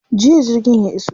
Jiya jirgin ya iso.